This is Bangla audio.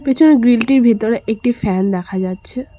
পিছনে গ্রিলটির টির ভিতরে একটি ফ্যান দেখা যাচ্ছে।